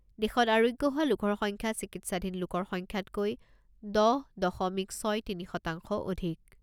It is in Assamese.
দেশত আৰোগ্য হোৱা লোকৰ সংখ্যা চিকিৎসাধীন লোকৰ সংখ্যাতকৈ দহ দশমিক ছয় তিনি শতাংশ অধিক।